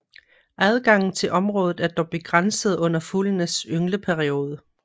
Adgangen til området er dog begrænset under fuglenes yngleperiode